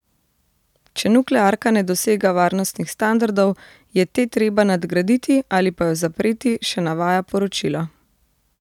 Če nuklearka ne dosega varnostnih standardov, je te treba nadgraditi ali pa jo zapreti, še navaja poročilo.